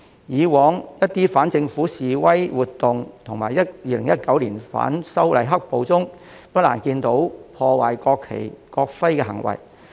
以往在一些反政府示威活動及2019年反修例"黑暴"中，不難見到破壞國旗、國徽的行為。